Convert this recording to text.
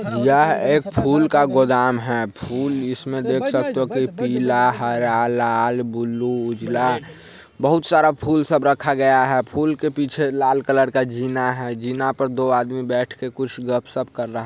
यहाँ एक फूल का गोदाम है| फूल इस मे देख सकते हो के पीला हरा लाल ब्लू उजल बहुत सारा फूल सब रखा गया है| फूल के पीछे लाल कलर का जीना है जीना पर दो आदमी बैठ के कुछ गप सप कर रहा है।